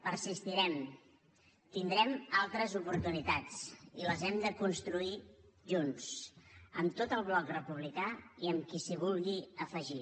persistirem tindrem altres oportunitats i les hem de construir junts amb tot el bloc republicà i amb qui s’hi vulgui afegir